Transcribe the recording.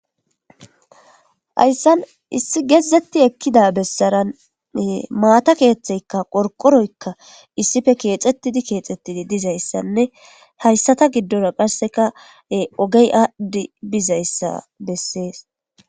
hayssan issi geezetti ekkida bessarane maata keeththeykka qorqoroykka issife keexettidi keexettidi dizayssanne hayssata giddora qarseka ogey aadhidi bizayssa bessees